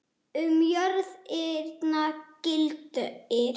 Um jörðina gildir